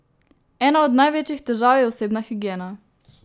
Ena od največjih težav je osebna higiena.